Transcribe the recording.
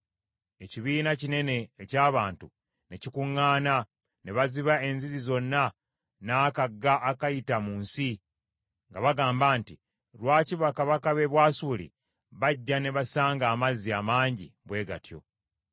Ekibiina kinene eky’abantu ne kikuŋŋaana, ne baziba enzizi zonna n’akagga akayita mu nsi, nga bagamba nti, “Lwaki bakabaka b’e Bwasuli bajja ne basanga amazzi amangi bwe gatyo?”